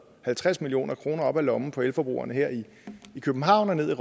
halvtreds million kroner op af lommen på elforbrugerne her i københavn og ned